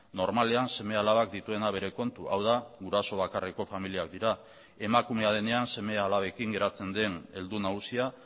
normalean seme alabak dituena bere kontu hau da guraso bakarreko familiak dira emakumea denean seme alabekin geratzen den heldu nagusia